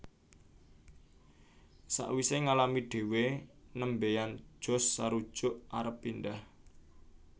Sawise ngalami dhewe nembean Josh sarujuk arep pindhah